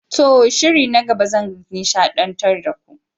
To! shiri na gaba zan nishadantar da ku.